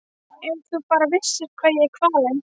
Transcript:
Ef þú bara vissir hvað ég er kvalinn.